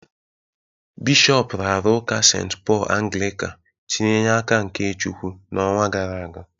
Bishọp raara ụka St. Paul Anglịka tinye n'aka nke Chukwu n'ọnwa gara aga